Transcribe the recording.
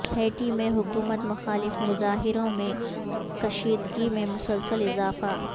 Haiti میں حکومت مخالف مظاہروں میں کشیدگی میں مسلسل اضافہ